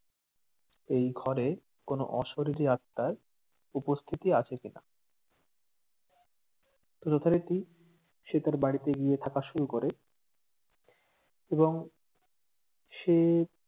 এই ঘরে কোনো অশরিরি আত্মার উপস্থিতি আছে কিনা, তো যথারিতি সে তার বাড়িতে গিয়ে থাকা শুরু করে এবং সে